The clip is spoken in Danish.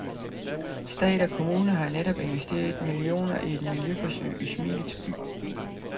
Stat og kommune har netop investeret millioner i et miljøforsøg i smilets by.